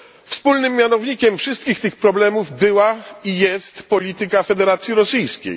Wspólnym mianownikiem wszystkich tych problemów była i jest polityka Federacji Rosyjskiej.